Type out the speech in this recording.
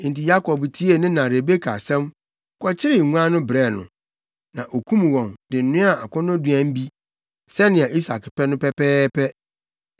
Enti Yakob tiee ne na Rebeka asɛm, kɔkyeree nguan no brɛɛ no. Na okum wɔn, de noaa akɔnnɔduan bi, sɛnea Isak pɛ no pɛpɛɛpɛ.